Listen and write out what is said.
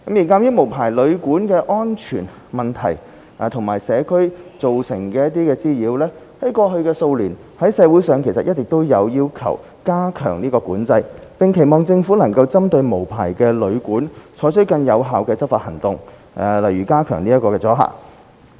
鑒於無牌旅館的安全問題及可能在社區造成的滋擾，過去數年，社會上一直有意見要求加強管制，並期望政府能針對無牌旅館，採取更有效的執法行動，例如加強阻嚇。